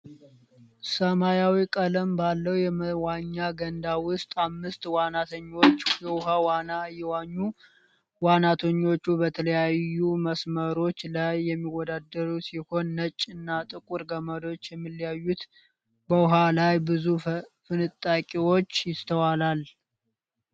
ሰማያዊ ቀለም ባለው የመዋኛ ገንዳ ውስጥ አምስት ዋናተኞች የውሃ ዋና እየዋኙ። ዋናተኞቹ በተለያዩ መስመሮች ላይ የሚወዳደሩ ሲሆን ነጭ እና ጥቁር ገመዶች የሚለያዩት በውሃው ላይ ብዙ ፍንጣቂዎች ይስተዋላል።